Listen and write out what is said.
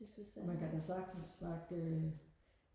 og man kan da sagtens snakke